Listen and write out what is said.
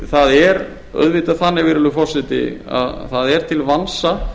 það er auðvitað þannig virðulegur forseti að það er til vansa